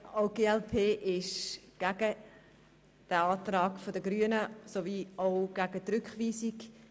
Auch die glp ist gegen den Antrag der Grünen und gegen die Rückweisung.